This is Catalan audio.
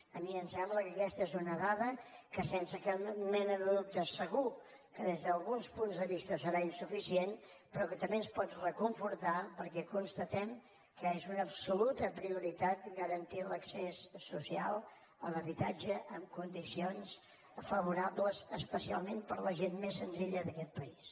a mi em sembla que aquesta és una dada que sense cap mena de dubte segur que des d’alguns punts de vista serà insuficient però que també ens pot reconfortar perquè constatem que és una absoluta prioritat garantir l’accés social a l’habitatge en condicions favorables especialment per a la gent més senzilla d’aquest país